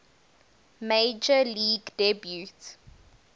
major league debut